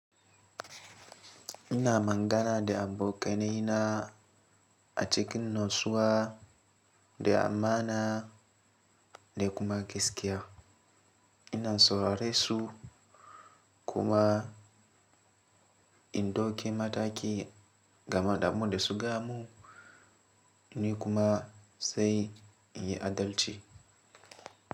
Ina mangana de amboka ne na a cikin nosuwa de amana de kuma geskia. Ina sororesu kuma in doke mataki gamada mo de abinda su gaya mun ni kuma sai in yi adalci.